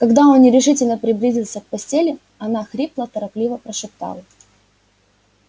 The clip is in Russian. когда он нерешительно приблизился к постели она хрипло торопливо прошептала